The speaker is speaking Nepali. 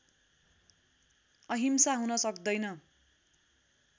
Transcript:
अहिंसा हुन सक्दैन